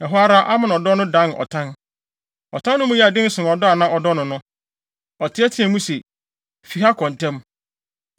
Ɛhɔ ara, Amnon dɔ no dan ɔtan. Ɔtan no mu yɛɛ den sen ɔdɔ a na ɔdɔ no no. Ɔteɛteɛɛ mu se, “Fi ha kɔ ntɛm!”